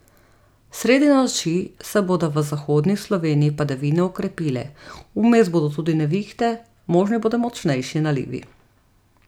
Sredi noči se bodo v zahodni Sloveniji padavine okrepile, vmes bodo tudi nevihte, možni bodo močnejši nalivi.